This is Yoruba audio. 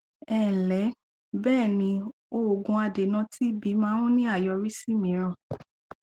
ẹǹlẹ bẹẹni òògùn adènà tb máà ń ní àyọrísí mìíràn